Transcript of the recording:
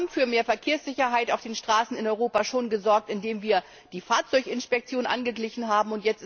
Wir haben schon für mehr Verkehrssicherheit auf den Straßen in Europa gesorgt, indem wir die Fahrzeuginspektion angeglichen haben.